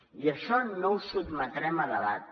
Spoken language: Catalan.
i això no ho sotmetrem a debat